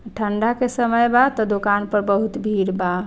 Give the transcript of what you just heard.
ठंडा के समय बा त दोकान पर बहुत भीड़ बा।